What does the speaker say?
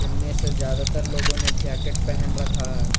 में से ज्यादातर लोगों ने जैकेट पहन रखा है।